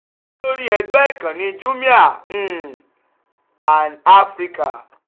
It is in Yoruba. lórí ẹgbẹ́ ìkànnì jumia um and africa